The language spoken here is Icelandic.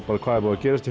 hvað hefur gerst í